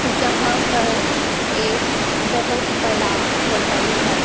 यहां पर एक बहोत बड़ा होटल है।